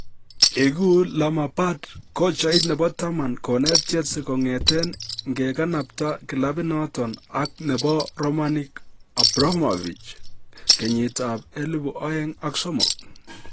Igu Lamapard kochait nebo taman konet Chelsea kong'eten ingekanapta kilabit noton ak nebo Romanik Abramovich 2003.